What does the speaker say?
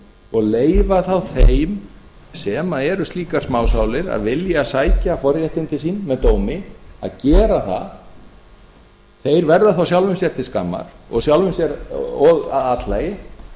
og leyfa þá þeim sem eru slíkar smásálir að vilja sækja forréttindi sín með dómi að gera það þeir verða þá sjálfum sér til skammar og að athlægi